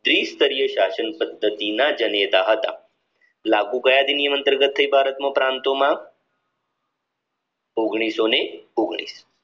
ત્રિસ્તરીય શાસન પદ્ધતિના જનેતા હતા લાગુ કયા અધિનિયમ થી ભારત ના પ્રાંતોમાં ઓગણીસો ને ઓગણીસ